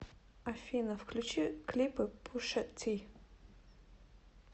афина клипы пуша ти